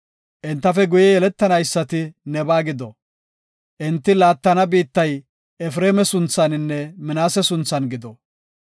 Entafe guye yeletanaysati nebaa gido. Enti laattana biittay Efreema sunthaninne Minaase sunthan gido.